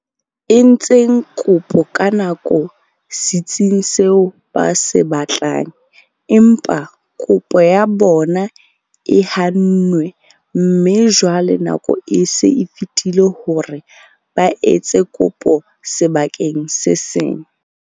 Entseng kopo ka nako setsing seo ba se batlang, empa kopo ya bona e hannwe mme jwale nako e se e fetile hore ba etse kopo sebakeng se seng.